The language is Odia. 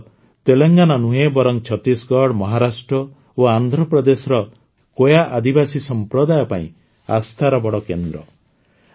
ଏହା କେବଳ ତେଲଙ୍ଗାନା ନୁହେଁ ବରଂ ଛତିଶଗଡ଼ ମହାରାଷ୍ଟ୍ର ଓ ଆନ୍ଧ୍ରପ୍ରଦେଶର କୋୟା ଆଦିବାସୀ ସମ୍ପ୍ରଦାୟ ପାଇଁ ଆସ୍ଥାର ବଡ଼ କେନ୍ଦ୍ର